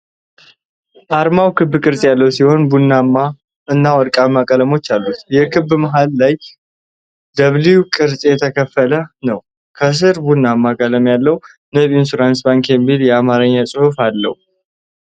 አርማው ክብ ቅርፅ ያለው ሲሆን ቡናማ እና ወርቃማ ቀለሞች አሉት። የክቡ መሃል ላይ በW ቅርፅ የተከፈለ ነው። ከስር ቡናማ ቀለም ያለው "ንብ ኢንተርናሽናል ባንክ" የሚል የአማርኛ ፅሁፍ አለ።